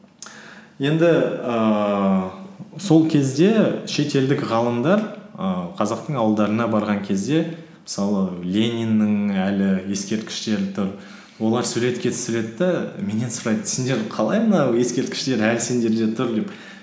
енді ііі сол кезде шетелдік ғалымдар і қазақтың ауылдарына барған кезде мысалы лениннің әлі ескерткіштері тұр олар суретке түсіреді де меннен сұрайды сендер қалай мынау ескерткіштер әлі сендерде тұр деп